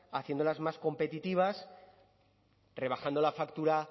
haciéndolas más competitivas rebajando la factura